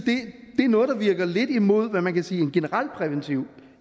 er noget der virker lidt imod hvad man kan sige er en generalpræventiv